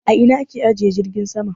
A ina a ke ajiye jirgin sama?